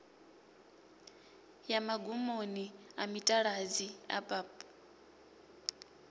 ya magumoni a mitaladzi abab